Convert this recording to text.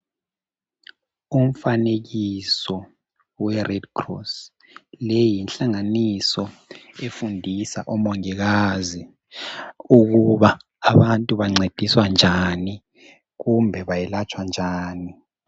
Umfanekiso we redcross le yinhlanaganiso efundisa omongikazi ukuba abantu bancediswa njani kumbe bayelatshwa njani.